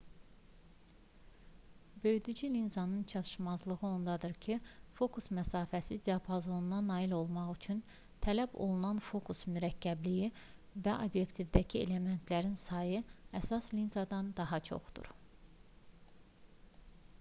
böyüdücü linzaların çatışmazlığı ondadır ki fokus məsafəsi diapazonuna nail olmaq üçün tələb olunan fokus mürəkkəbliyi və obyektivdəki elementlərinin sayı əsas linzalardan daha çoxdur